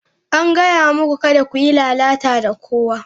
An gaya muku kada ku yi lalata da kowa!